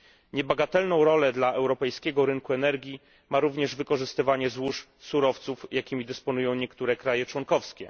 Niebagatelną rolę dla europejskiego rynku energii ma również wykorzystywanie złóż surowców, jakimi dysponują niektóre kraje członkowskie.